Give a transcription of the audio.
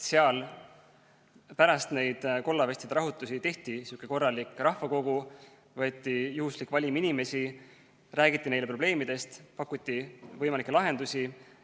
Seal pärast neid kollavestide rahutusi tehti sihuke korralik rahvakogu, võeti juhuslik valim inimesi, räägiti neile probleemidest, pakuti võimalikke lahendusi.